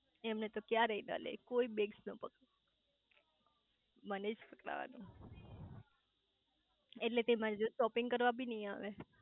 એમને તો ક્યાંરે નો લે કોઈ બેગ્સ નો પકડે મને જ પકડવાનું એટલે તો એ મારી જોડે શોપિંગ કરવ બી નઈ આવે